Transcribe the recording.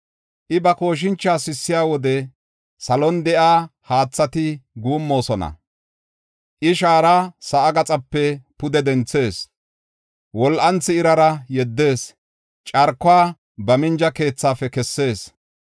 I, ba kooshincha sissiya wode, salon de7iya haathati guummoosona. I shaara sa7a gaxape pude denthees; wol7anthi irara yeddees; carkuwa ba minja keethaafe kessees.